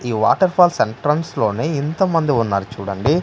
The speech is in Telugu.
ఈ వాటర్ ఫాల్స్ ఎంట్రన్స్ లోనే ఇంతమంది ఉన్నారు చూడండి.